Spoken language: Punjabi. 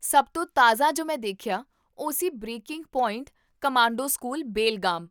ਸਭ ਤੋਂ ਤਾਜ਼ਾ ਜੋ ਮੈਂ ਦੇਖਿਆ ਉਹ ਸੀ 'breaking point commando school, Belgaum'